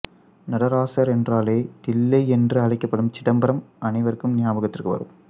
நடராசர் என்றாலே தில்லை என்று அழைக்கப்படும் சிதம்பரம் அனைவருக்கும் ஞாபகத்திற்கு வரும்